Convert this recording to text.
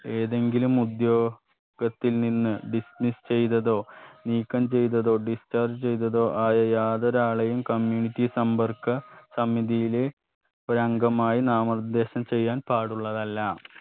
ഏതെങ്കിലും ഉദ്യോ കത്തിൽ നിന്ന് business ചെയ്തതോ നീക്കം ചെയ്തതോ discharge ചെയ്തതോ ആയ യാതൊരാളെയും community സമ്പർക്ക സമിതിയിലെ ഒരംഗമായി നാമനിർദ്ദേശം ചെയ്യാൻ പാടുള്ളതല്ല